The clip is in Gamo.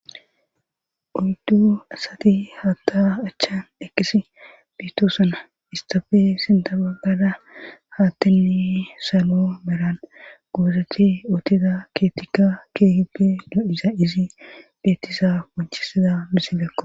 Dumma dumma asati hatha achani eqidi betosona istappe sintha bagara hathey salo malan gozeti uttides